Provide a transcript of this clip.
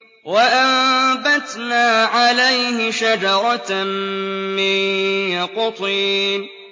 وَأَنبَتْنَا عَلَيْهِ شَجَرَةً مِّن يَقْطِينٍ